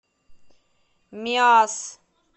миасс